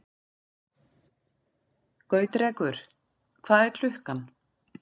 Gautrekur, hvað er klukkan?